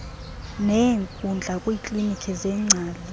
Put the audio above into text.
neenkundla kwiiklinkhi zeengcali